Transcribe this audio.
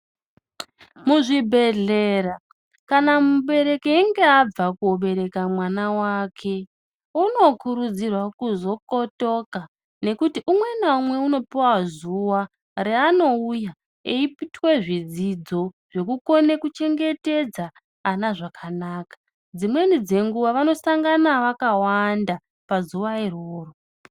Muzvibhedhlera kana mubereki einga abva kobereka mwana wake unokurudzirwa kuzokotoka ngekuti umwe naumwe unopuwa zuwa raanouya eiputwe zvidzidzo zvekukona kuchengetedza ana zvakanaka dzimweni dzenguwa vanosangana vakawanda pazuwa iroro.